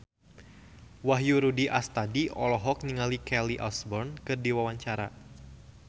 Wahyu Rudi Astadi olohok ningali Kelly Osbourne keur diwawancara